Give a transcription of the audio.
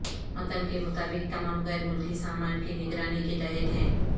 متن کے مطابق تمام غیر ملکی سامان کی نگرانی کے تحت ہیں